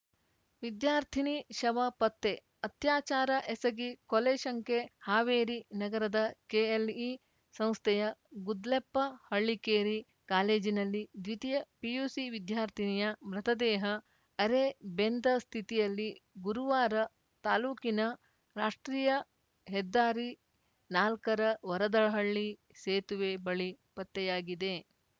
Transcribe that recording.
ವಿದ್ಯಾರ್ಥಿನಿ ಶವ ಪತ್ತೆ ಅತ್ಯಾಚಾರ ಎಸಗಿ ಕೊಲೆ ಶಂಕೆ ಹಾವೇರಿ ನಗರದ ಕೆಎಲ್‌ಇ ಸಂಸ್ಥೆಯ ಗುದ್ಲೆಪ್ಪ ಹಳ್ಳಿಕೇರಿ ಕಾಲೇಜಿನಲ್ಲಿ ದ್ವಿತೀಯ ಪಿಯುಸಿ ವಿದ್ಯಾರ್ಥಿನಿಯ ಮೃತದೇಹ ಅರೆಬೆಂದ ಸ್ಥಿತಿಯಲ್ಲಿ ಗುರುವಾರ ತಾಲೂಕಿನ ರಾಷ್ಟ್ರೀಯ ಹೆದ್ದಾರಿ ನಾಲ್ಕರ ವರದಹಳ್ಳಿ ಸೇತುವೆ ಬಳಿ ಪತ್ತೆಯಾಗಿದೆ